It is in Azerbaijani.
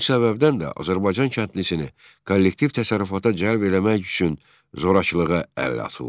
Bu səbəbdən də Azərbaycan kəndlisini kollektiv təsərrüfata cəlb eləmək üçün zorakılığa əl atıldı.